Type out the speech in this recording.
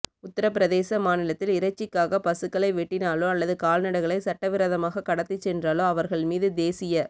உத்தரப்பிரதேச மாநிலத்தில் இறைச்சிக்காக பசுக்களை வெட்டினாலோ அல்லது கால்நடைகளை சட்டவிரோதமாக கடத்திச் சென்றாலோ அவர்கள் மீது தேசிய